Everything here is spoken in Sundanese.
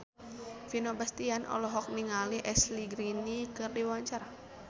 Vino Bastian olohok ningali Ashley Greene keur diwawancara